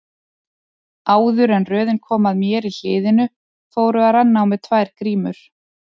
Áður en röðin kom að mér í hliðinu fóru að renna á mig tvær grímur.